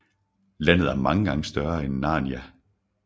Landet er mange gange større end Narnia